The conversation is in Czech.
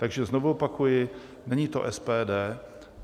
Takže znovu opakuji, není to SPD.